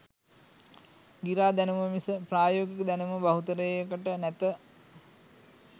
ගිරා දැනුම මිස ප්‍රයෝගික දැනුම බහුතරයකට නැත.